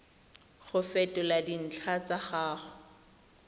go fetola dintlha tsa gago